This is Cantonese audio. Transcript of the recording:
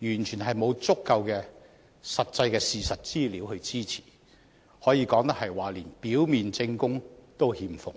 完全沒有足夠的、實際的事實資料支持，可以說得上是連表面證供也欠奉。